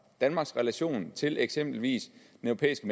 danmarks relation til eksempelvis den europæiske